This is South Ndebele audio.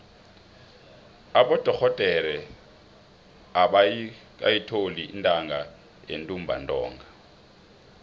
abodorhodere abakayitholi intatha yentumbantonga